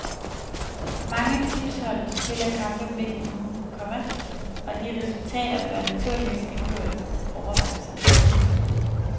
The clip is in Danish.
Mange tipshold spiller kampe midt i ugen, komma og de resultater bør naturligvis indgå i overvejelserne. punktum